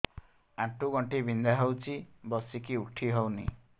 ଆଣ୍ଠୁ ଗଣ୍ଠି ବିନ୍ଧା ହଉଚି ବସିକି ଉଠି ହଉନି